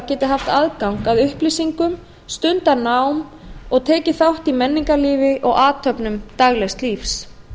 geti haft aðgang að upplýsingum stundað nám og tekið þátt í menningarlífi og athöfnum daglegs lífs